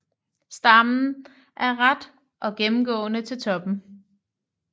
Stammen er ret og gennemgående til toppen